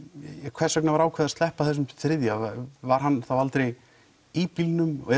hvers vegna var ákveðið að sleppa þessum þriðja var hann þá aldrei í bílnum og